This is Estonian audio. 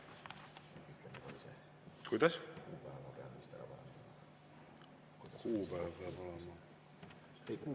Aitäh, Rain Epler!